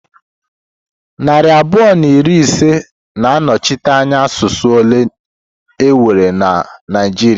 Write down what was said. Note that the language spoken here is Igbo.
Narị abụọ na iri ise na-anọchite anya asụsụ ole enwe na Naịjirịa.